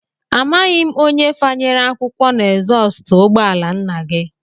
Amaghị m onye fanyere akwụkwọ n'ezọstụ ụgbọala nna gị